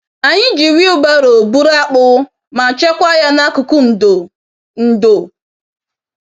Anyị ji wheelbarrow buru akpụ ma chekwa ya n'akụkụ ndo. ndo.